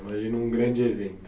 Imagina um grande evento.